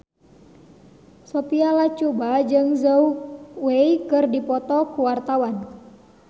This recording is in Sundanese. Sophia Latjuba jeung Zhao Wei keur dipoto ku wartawan